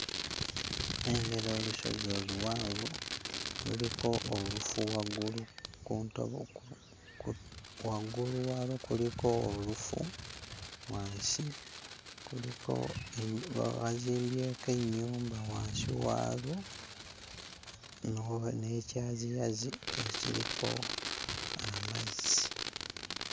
Nnengera olusozi oluwanvu, luliko olufu waggulu ku ntobo ku ku waggulu waalwo kuliko olufu, wansi kuliko e bazimbyeko ennyumba wansi waalwo n'obu n'ekyaziyazi ekiriko amazzi.